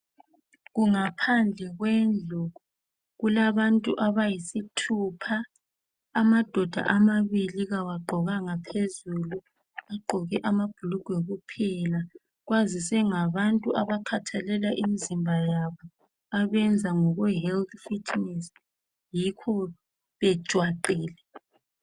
Kungaphambi kwendlu, kulabantu abayisithupha. Amadoda amabili kawagqokanga phezulu, agqoke amabhulugwe kuphela. Kwazise ngabantu abakhathalela imizimba yabo, abenza ngokwe health fitness, yikho bejwaqile.